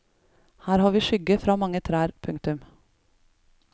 Her har vi skygge fra mange trær. punktum